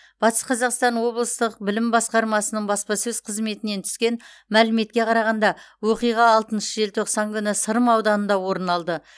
батыс қазақстан облыстық білім басқармасының баспасөз қызметінен түскен мәліметке қарағанда оқиға алтыншы желтоқсан күні сырым ауданында орын алды